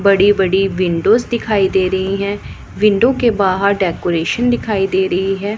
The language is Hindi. बड़ी बड़ी विंडोस दिखाई दे रही हैं विंडो के बाहर डेकोरेशन दिखाई दे रही है।